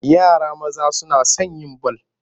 Yara maza suna son yin bal.